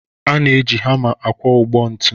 A na-eji hama akwọ ụgbọ ntu